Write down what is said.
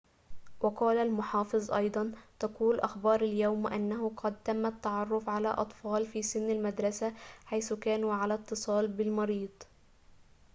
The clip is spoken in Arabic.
وقال المحافظ أيضاً تقول أخبار اليوم أنه قد تم التعرف على أطفال في سن المدرسة حيث كانوا على اتصال بالمريض